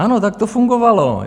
Ano, tak to fungovalo.